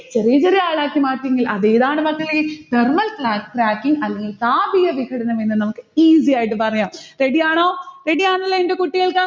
ചെറിയ ചെറിയ ആളാക്കിമാറ്റിയെങ്കിൽ അതേതാണ് മക്കളെ? thermal crack cracking അല്ലെങ്കിൽ താപീയ വികൃതം എന്ന് നമ്മൾക്കു easy ആയിട്ട് പറയാം. ready ആണോ? ready അല്ലെ ന്റെ കുട്ടികൾക്ക്?